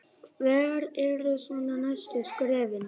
Hver eru svona næstu skrefin?